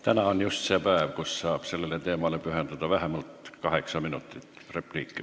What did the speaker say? Täna on just see päev, kui saab sellele teemale pühendada vähemalt kaheksa minutit.